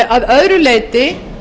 að öðru leyti